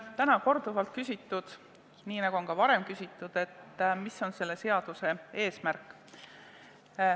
Täna on korduvalt küsitud, nii nagu ka varem on küsitud, et mis on selle seaduse eesmärk.